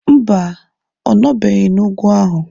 Mba, ọ nọbeghị n'ugwu ahụ.